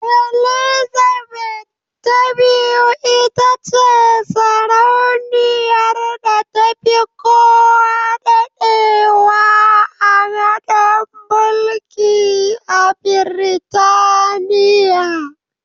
Elizabeth ta biyu itace sarauniyar da tafi kowa daɗewa a gadon mulki a Biritaniya.